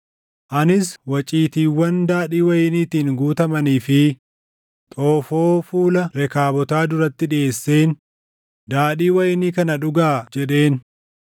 Anis waciitiiwwan daadhii wayiniitiin guutamanii fi xoofoo fuula Rekaabotaa duratti dhiʼeesseen, “Daadhii wayinii kana dhugaa” jedheen.